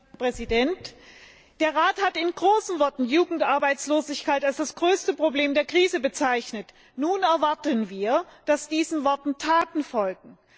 Herr Präsident! Der Rat hat in großen Worten Jugendarbeitslosigkeit als das größte Problem der Krise bezeichnet. Nun erwarten wir, dass diesen Worten Taten folgen.